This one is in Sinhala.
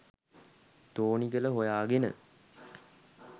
තෝනිගල හොයාගෙන.